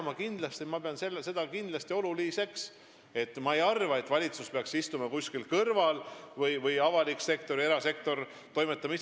Ma ei arva, et valitsus või avalik sektor peaks kuskil kõrval istuma – las erasektor toimetab ise.